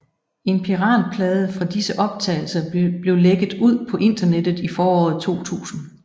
En piratplade fra disse optagelser blev lækket ud på internettet i foråret 2000